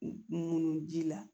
Munun ji la